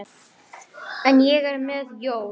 En ég er með hjól.